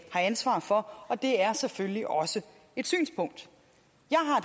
ansvar for og det er selvfølgelig også et synspunkt